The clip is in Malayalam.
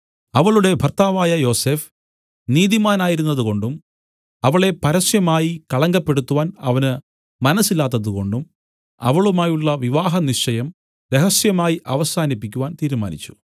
അവളുടെ ഭർത്താവായ യോസഫ് നീതിമാനായിരുന്നതുകൊണ്ടും അവളെ പരസ്യമായി കളങ്കപ്പെടുത്തുവാൻ അവന് മനസ്സില്ലാത്തതു കൊണ്ടും അവളുമായുള്ള വിവഹനിശ്ചയം രഹസ്യമായി അവസാനിപ്പിക്കുവാൻ തീരുമാനിച്ചു